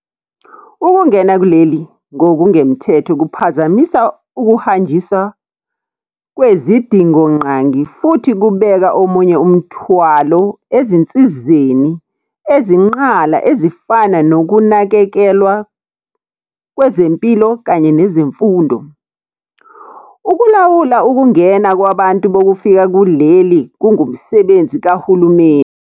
Ukungena kuleli ngokungemthetho kuphazamisa ukuhanjiswa kwezidingonqangi futhi kubeka omunye umthwalo ezinsizeni ezinqala ezifana nokunakekelwa kwezempilo kanye nezemfundo. Ukulawula ukungena kwabantu bokufika kuleli kungumsebenzi kahulumeni.